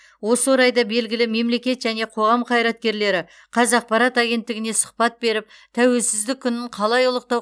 осы орайда белгілі мемлекет және қоғам қайраткерлері қазақпарат агенттігіне сұхбат беріп тәуелсіздік күнін қалай ұлықтау